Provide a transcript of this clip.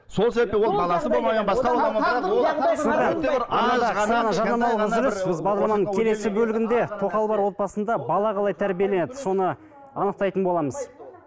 біз бағдарламаның келесі бөлімінде тоқалы бар отбасында бала қалай тәрбиеленеді соны анықтайтын боламыз